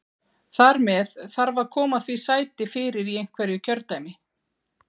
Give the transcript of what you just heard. Þar með þarf að koma því sæti fyrir í einhverju kjördæmi.